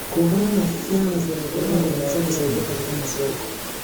Kuungana na vyama vya wakulima kunaweza kusaidia katika masoko.